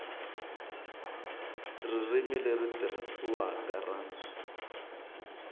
ririmi leri tirhisiwaka ra